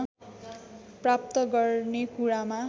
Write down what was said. प्राप्त गर्ने कुरामा